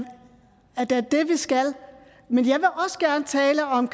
skal men jeg vil også gerne tale om